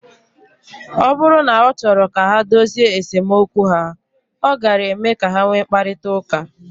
Ọ bụrụ na ọ chọrọ ka ha dozie esemokwu ha, ọ gaara eme ka ha nwee mkparịta ụka.